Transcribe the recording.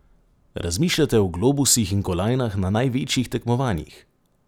Razmišljate o globusih in kolajnah na največjih tekmovanjih?